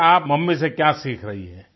अच्छा आप मम्मी से क्या सीख रही हो